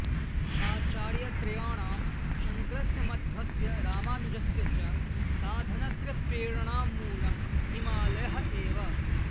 आचार्यत्रयाणां शङ्करस्य मध्वस्य रामानुजस्य च साधनस्य प्रेरणामूलं हिमालयः एव